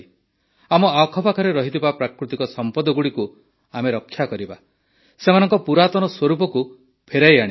ଆମ ଆଖପାଖରେ ରହିଥିବା ପ୍ରାକୃତିକ ସମ୍ପଦଗୁଡ଼ିକୁ ଆମେ ରକ୍ଷା କରିବା ସେମାନଙ୍କ ପୁରାତନ ସ୍ୱରୂପକୁ ଫେରାଇ ଆଣିବା